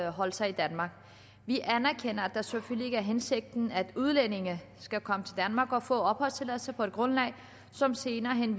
opholde sig i danmark vi anerkender at det selvfølgelig ikke er hensigten at udlændinge skal komme til danmark og få opholdstilladelse på et grundlag som senere hen